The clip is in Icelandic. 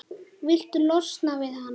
Viltu losna við hana?